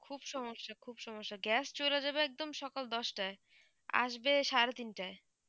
খুব সমস্যা খুব সমস্যা gas চলে যাবে একদম সকাল দশ টায় আসবে সাড়ে তিন টায় এই ভাবে চলতেছে